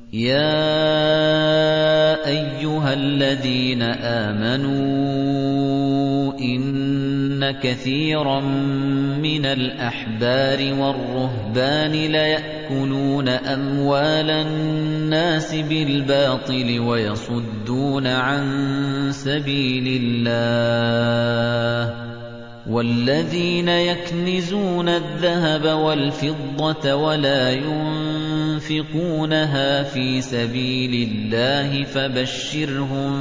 ۞ يَا أَيُّهَا الَّذِينَ آمَنُوا إِنَّ كَثِيرًا مِّنَ الْأَحْبَارِ وَالرُّهْبَانِ لَيَأْكُلُونَ أَمْوَالَ النَّاسِ بِالْبَاطِلِ وَيَصُدُّونَ عَن سَبِيلِ اللَّهِ ۗ وَالَّذِينَ يَكْنِزُونَ الذَّهَبَ وَالْفِضَّةَ وَلَا يُنفِقُونَهَا فِي سَبِيلِ اللَّهِ فَبَشِّرْهُم